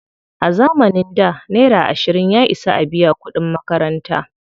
A zamanin da, naira ashirin ya isa a biya kuɗin makaranta.